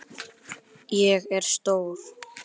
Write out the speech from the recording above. Ég er stór.